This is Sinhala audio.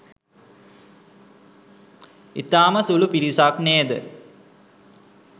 ඉතාම සුළු පිරිසක් නේද